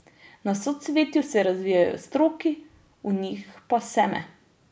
Na socvetju se razvijejo stroki, v njih pa seme.